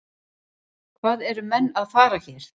Hvað eru menn að fara hér?